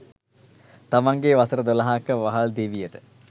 තමන්ගේ වසර දොළහක වහල් දිවියට